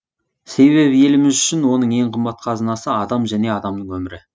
себебі еліміз үшін оның ең қымбат қазынасы адам және адамның өмірі